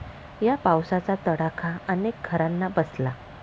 या पावसाचा तडाखा अनेक घरांना बसला.